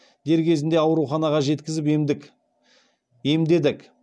дер кезінде ауруханаға жеткізіп емдедік